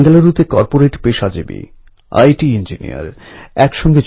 এখন যে কোনও শহরের অলিতে গলিতে গণেশ মণ্ডপ দেখতে পাওয়া যায়